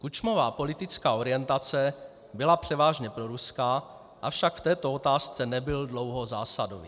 Kučmova politická orientace byla převážně proruská, avšak v této otázce nebyl dlouho zásadový.